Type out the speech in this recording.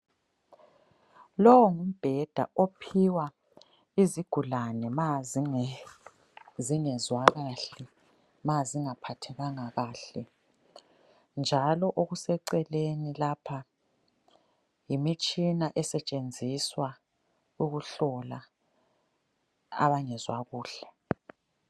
Lowu ngumbheda ophiwa izigulane ma zingezwa kahle ma zingaphathekanga kahle njalo okuseceleni lapha yimitshina esetshenziswa ukuhlola abangezwa kuhle.